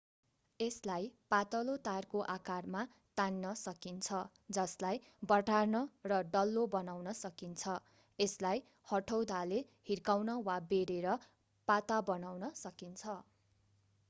यसलाई पातलो तारको आकारमा तान्न सकिन्छ जसलाई बटार्न र डल्लो बनाउन सकिन्छ यसलाई हथौडाले हिर्काउन वा बेरेर पाता बनाउन सकिन्छ